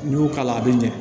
N'i y'o k'a la a bi ɲɛ